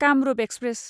Kamrup express